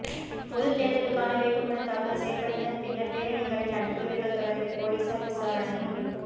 பொதுத் தேர்தலுக்கான வேட்புமனுத் தாக்கல் செய்யப்பட்டதன் பின்னர் பேரணிகளை நடத்தியவர்கள் தொடர்பில் பொலிஸார் விசாரணை